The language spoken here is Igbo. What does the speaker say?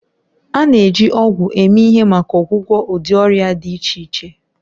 A na-eji ọgwụ eme ihe maka ọgwụgwọ ụdị ọrịa dị iche iche